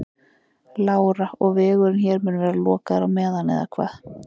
Lára: Og vegurinn hér mun vera lokaður á meðan eða hvað?